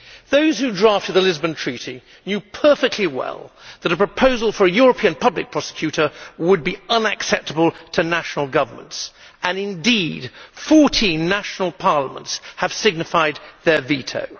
Those who drafted the Lisbon Treaty knew perfectly well that a proposal for a European Public Prosecutor would be unacceptable to national governments and, indeed, 14 national parliaments have signified their veto.